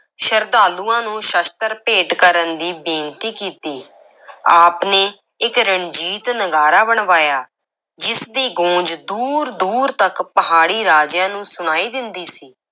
ਸ਼ਰਧਾਲੂਆਂ ਨੂੰ ਸ਼ਸਤਰ ਭੇਟ ਕਰਨ ਦੀ ਬੇਨਤੀ ਕੀਤੀ ਆਪ ਨੇ ਇੱਕ ਰਣਜੀਤ ਨਗਾਰਾ ਬਣਵਾਇਆ, ਜਿਸ ਦੀ ਗੂੰਜ ਦੂਰ-ਦੂਰ ਤੱਕ ਪਹਾੜੀ ਰਾਜਿਆਂ ਨੂੰ ਸੁਣਾਈ ਦਿੰਦੀ ਸੀ।